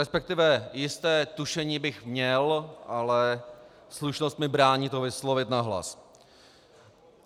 Respektive jisté tušení bych měl, ale slušnost mi brání to vyslovit nahlas.